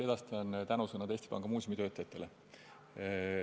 Kindlasti edastan tänusõnad Eesti Panga muuseumi töötajatele.